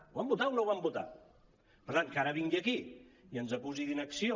ho van votar o no ho van votar per tant que ara vingui aquí i ens acusi d’inacció